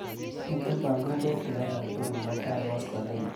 Miite panganutik akatukul mutai koskoliny.